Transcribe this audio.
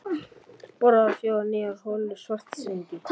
Boraðar fjórar nýjar holur í Svartsengi.